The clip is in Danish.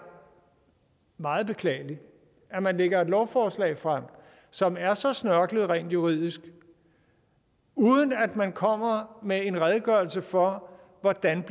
meget beklageligt at man lægger et lovforslag frem som er så snørklet rent juridisk uden at man kommer med en redegørelse for hvordan